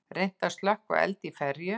Reynt að slökkva eld í ferju